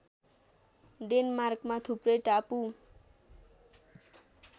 डेनमार्कमा थुप्रै टापु